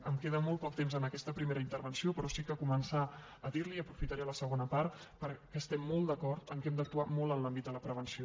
em queda molt poc temps en aquesta primera intervenció però sí que començar a dir li i aprofitaré la segona part que estem molt d’acord que hem d’actuar molt en l’àmbit de la prevenció